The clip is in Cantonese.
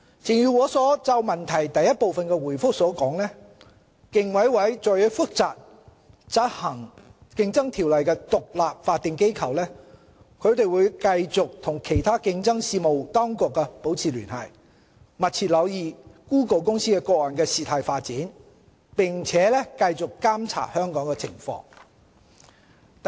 正如我就主體質詢第一部分所作的答覆，競委會作為負責執行《競爭條例》的獨立法定機構，會繼續與其他競爭事務當局保持聯繫，密切留意谷歌公司個案的事態發展，並繼續監察香港的情況。